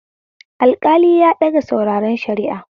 Alƙali ya ɗaga sauraren shari'a